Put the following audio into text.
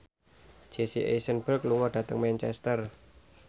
Jesse Eisenberg lunga dhateng Manchester